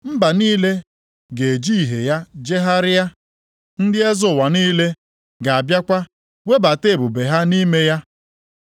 Mba niile ga-eji ìhè ya jegharịa. Ndị eze ụwa niile ga-abịakwa webata ebube ha nʼime ya.